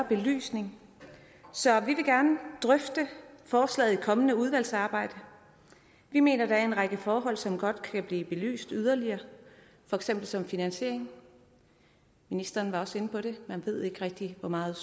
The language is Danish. belyst mere så vi vil gerne drøfte forslaget i et kommende udvalgsarbejde vi mener at der er en række forhold som godt kan blive belyst yderligere for eksempel som finansiering ministeren var også inde på det man ved ikke rigtig hvor meget